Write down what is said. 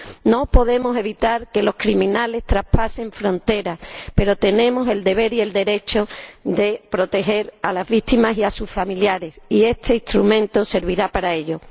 No podemos evitar que los criminales traspasen fronteras, pero tenemos el deber y el derecho de proteger a las víctimas y a sus familiares, y este instrumento servirá para ello.